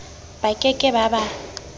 ba ke ke ba ba